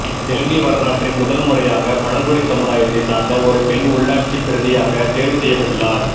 இலங்கை வரலாற்றில் முதன் முறையாக பழங்குடி சமுதாயத்தை சார்ந்த ஒரு பெண் உள்ளாட்சி பிரதியாக தேர்வு செய்யப் பட்டுள்ளார்